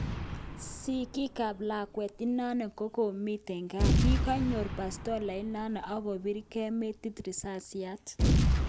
Sigik ap lakwet inano kokimiten gaa kikonyor bastola inano ak kopirnge metit risasiat